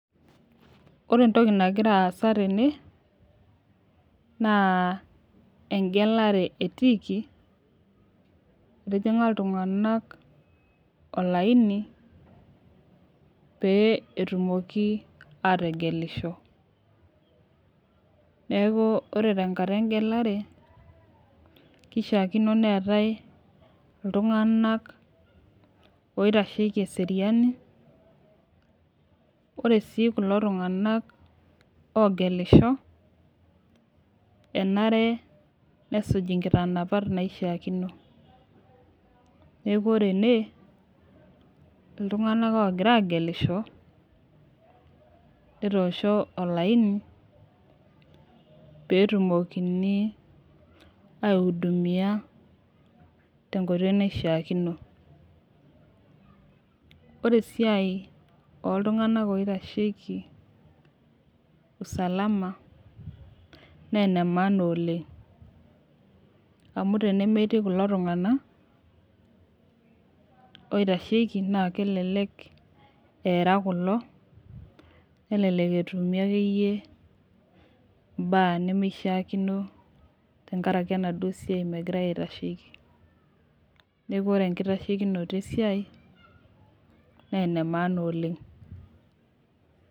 Ore etoki nagira aasa tene naa, egelare etiiki etijinga iltunganak olaini pee etumoki ategelisho. Neaku ore tenkata egelare kishakino neetae iltunganak oitasheiki eseriani. Ore sii kulo tunganak ogelisho enare nesuuj ikitanapat naishikino. Neaku ore ene iltunganak ogira agelisho netoosho olaini pee etumokini aihudumia tenkoitoi naishikino. Ore siai oltunganak oitasheiki usalama naa ena maana oleng amu tenemetii kulo tunganak oitasheiki naa, kelelek eara kulo nelelek etumi akeyie imbaa nemeishakino tenkaraki enaduo siai megirae aitasheiki. Neaku ore ekitashekonoto esiai naa enamaana oleng.